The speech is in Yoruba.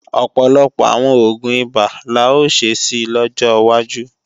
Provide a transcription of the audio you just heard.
Ọ̀pọ̀lọpọ̀ àwọn oògùn ibà la ó ṣe si lọ́jọ́ wájú